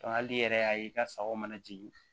hali n'i yɛrɛ y'a ye i ka sagaw mana jigin